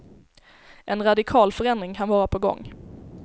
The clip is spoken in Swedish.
En radikal förändring kan vara på gång.